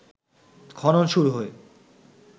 খনন শুরু হয়ে